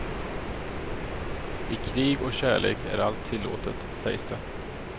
I krig och kärlek är allt tillåtet, sägs det.